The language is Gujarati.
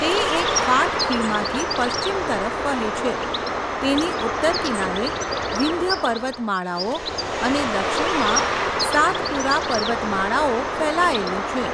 તે એક ફાટ ખીણમાંથી પશ્ચિમ તરફ વહે છે, તેની ઉત્તર કિનારે વિંધ્ય પર્વતમાળાઓ અને દક્ષિણમાં સાતપુરા પર્વતમાળાઓ ફેલાયેલી છે.